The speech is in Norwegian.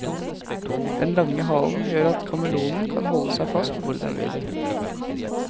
Den lange halen gjør at kameleonen kan holde seg fast hvor den vil.